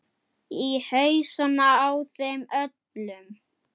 Í hausana á þeim öllum.